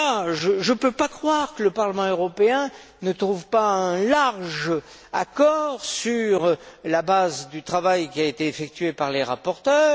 Je ne peux pas croire que le Parlement européen ne trouve pas un large accord sur la base du travail qui a été effectué par les rapporteurs.